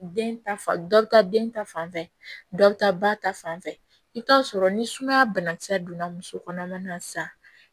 Den ta fa dɔ bɛ taa den ta fan fɛ dɔ bɛ taa ba ta fan fɛ i bi t'a sɔrɔ ni sumaya bana kisɛ donna muso kɔnɔma na sa